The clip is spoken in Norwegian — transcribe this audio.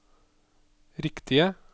riktige